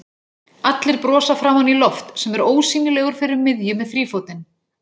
Allir brosa framan í Loft sem er ósýnilegur fyrir miðju með þrífótinn.